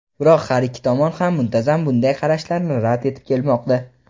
Biroq har ikki tomon ham muntazam bunday qarashlarni rad etib kelmoqda.